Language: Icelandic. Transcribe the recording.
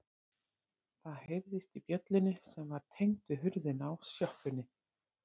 Það heyrðist í bjöllunni sem var tengd við hurðina á sjoppunni.